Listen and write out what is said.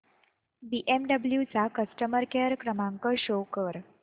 BMW चा customer care क्रमांक show कर